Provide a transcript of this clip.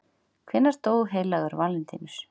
hvenær dó heilagur valentínus